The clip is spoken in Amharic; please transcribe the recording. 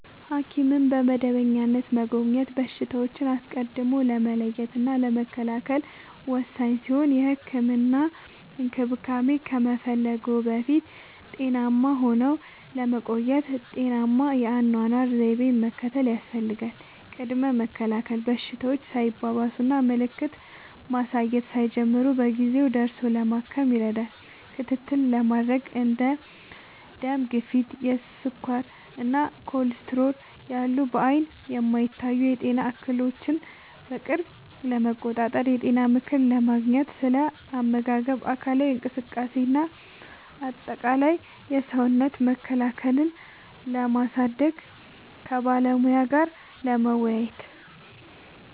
ሐኪምን በመደበኛነት መጎብኘት በሽታዎችን አስቀድሞ ለመለየትና ለመከላከል ወሳኝ ሲሆን፥ የህክምና እንክብካቤ ከመፈለግዎ በፊት ጤናማ ሆነው ለመቆየት ጤናማ የአኗኗር ዘይቤን መከተል ያስፈልጋል። ቅድመ መከላከል፦ በሽታዎች ሳይባባሱና ምልክት ማሳየት ሳይጀምሩ በጊዜ ደርሶ ለማከም ይረዳል። ክትትል ለማድረግ፦ እንደ ደም ግፊት፣ ስኳር እና ኮሌስትሮል ያሉ በዓይን የማይታዩ የጤና እክሎችን በቅርብ ለመቆጣጠር። የጤና ምክር ለማግኘት፦ ስለ አመጋገብ፣ አካላዊ እንቅስቃሴ እና አጠቃላይ የሰውነት መከላከያን ስለማሳደግ ከባለሙያ ጋር ለመወያየት።